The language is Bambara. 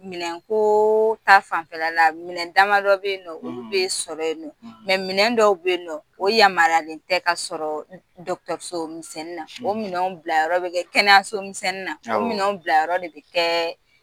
Minɛn kooo taa fanfɛla la minɛn dama dɔ bɛ yen nɔ, olu bɛ sɔrɔ yen nɔ, minɛn dɔw bɛ yen nɔ, o yamarialen tɛ ka sɔrɔ dɔgɔtɔrɔso minsɛnni na o minɛn bila yɔrɔ bɛ kɛ kɛnɛyaso misɛnin na, o minɛn bila yɔrɔ de bɛ kɛɛ